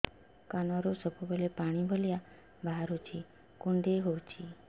କାନରୁ ସବୁବେଳେ ପାଣି ଭଳିଆ ବାହାରୁଚି କୁଣ୍ଡେଇ ହଉଚି